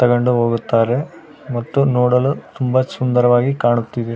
ತಗೊಂಡು ಹೋಗುತ್ತಾರೆ ಮತ್ತು ನೋಡಲು ತುಂಬಾ ಸುಂದರವಾಗಿ ಕಾಣುತ್ತಿದೆ.